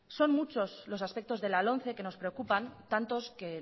son muchos los aspectos de la lomce que nos preocupan tantos que